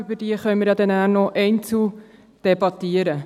Über diese können wir nachher noch einzeln debattieren.